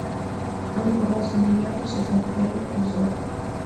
отбросы девятый сезон первый эпизод